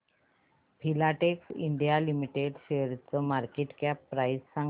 Filatex India limited शेअरची market cap price सांगा